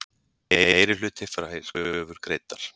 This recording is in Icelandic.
Meirihluti fær kröfur greiddar